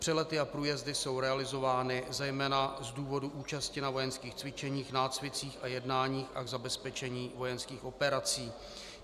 Přelety a průjezdy jsou realizovány zejména z důvodu účasti na vojenských cvičeních, nácvicích a jednáních a k zabezpečení vojenských operací.